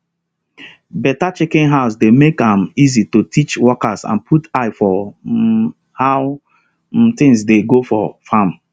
better chicken house dey make am easy to teach workers and put eye for um how um things dey go for farm